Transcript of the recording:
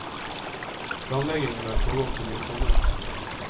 Planleggingen har pågått siden i sommer.